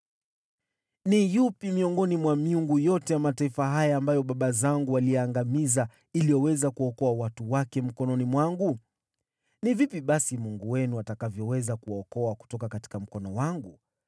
Ni yupi miongoni mwa miungu yote ya mataifa haya ambayo baba zangu waliyaangamiza ameweza kuwaokoa watu wake mkononi mwangu? Inawezekanaje basi Mungu wenu kuwaokoa mkononi mwangu?